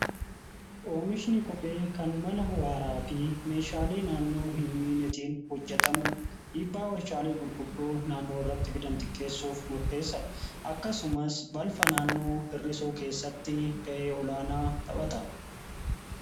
oomishni kophee kan mala waaraa fi meeshaalee naannoo hin miinetiin hojjetamu dhiibbaa warshaalee gurguddo naannoo irratti fidan xiqqeessuuf murteessa dha. akkasumas balfa naannoo hirrisuu keessatti ga'ee olaanaa taphata.